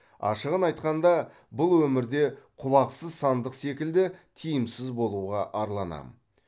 ашығын айтқанда бұл өмірде құлақсыз сандық секілді тиімсіз болуға арланамын